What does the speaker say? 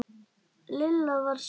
Lilla var sár.